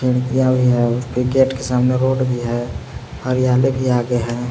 भी है उसके गेट के सामने रोड भी है हरियाली भी आगे है।